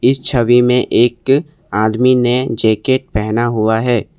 इस छवि में एक आदमी ने जैकेट पहना हुआ है।